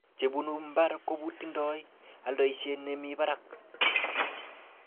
chebunu mbar kotindai aldaishet nemi barak